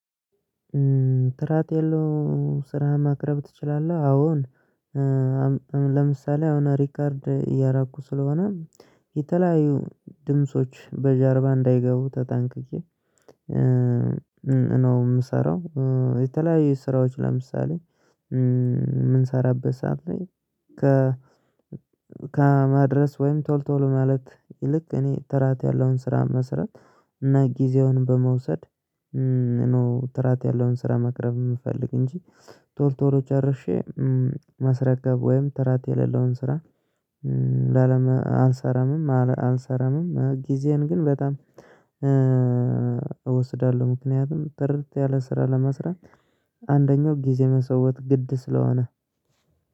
ትራት የለው ስራ ማቅረብ ትችላለህ አዎን ለምሳሌ አሁን ሪከርድ እያራኩ ስለሆነ የተለያዩ ድምጾች በጀርባ እንዳይገቡ ተጠንቅቄ ነው የምሰራው። የተለያዩ ስራዎች ለምሳሌ ሰዓት ላይ። ከማድረስ ወይም ቶል ቶሎ ማለት ይልቅ እኔ ተራት ያለውን ስራ መስራት እና ጊዜውን በመውሰድ ነው። ተራት ያለውን ስራ መቅረብ የምፈልግ እንጂ ቶርቶሮ ጨርሼ ማስረከብ ወይም ተራት የሌለውን ስራ። አልሰራምም አልሰራምም ጊዜዬን ግን በጣም ምክንያቱም ጥርት ያለ ስራ ለመስራት አንደኛው ጊዜ መስዋወት ግድ ስለሆነ